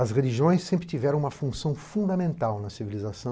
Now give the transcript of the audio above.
As religiões sempre tiveram uma função fundamental na civilização,